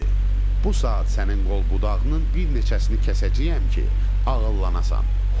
Bu saat sənin qol budağının bir neçəsini kəsəcəyəm ki, ağıllanasən.